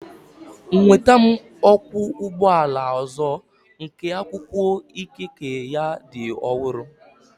Nweta m ọkwọ ụgbọ ala ọzọ nke akwụkwọ ikike ya dị ọhụrụ